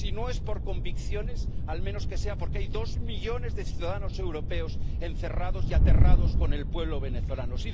Si no es por convicciones, al menos que sea porque hay dos millones de ciudadanos europeos encerrados y aterrados con el pueblo venezolano.